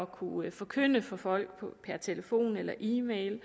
kunne forkynde for folk per telefon eller e mail